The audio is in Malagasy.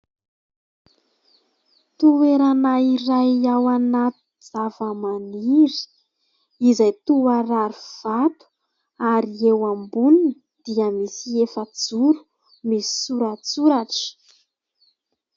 Toerana iray ao anaty zavamaniry izay toa rarivato, ary eo amboniny dia misy efajoro misy soratsoratra.